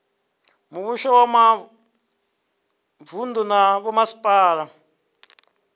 muvhuso wa mavunu na vhomasipala